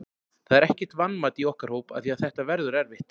Það er ekkert vanmat í okkar hóp af því að þetta verður erfitt.